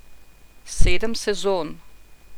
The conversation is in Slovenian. Sedem sezon.